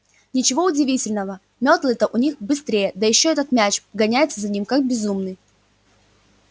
ничего удивительного мётлы-то у них быстрее да ещё этот мяч гоняется за ним как безумный